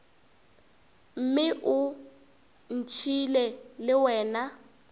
mme o ntšhiile le wena